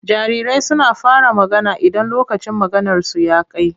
Jarirai suna fara magana idan lokacin maganarsu ya kai.